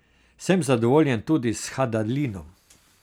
Sem zadovoljen tudi s Hadalinom.